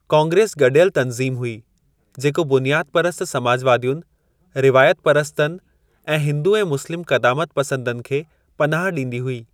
कांग्रेस गडि॒यलु तंज़ीम हुई, जेको बुनियादु परस्त समाजवादियुनि, रिवायत परसतनि ऐं हिंदू ऐं मुस्लिम क़दामत पसंदनि खे पनाहु ॾींदी हुई।